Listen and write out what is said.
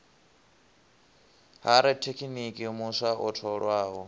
ha rathekiniki muswa o tholwaho